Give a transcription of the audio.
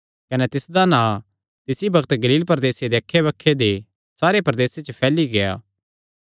कने तिसदा नां तिसी बग्त गलील प्रदेसे दे अक्खै बक्खे दे सारे प्रदेसे च फैली गेआ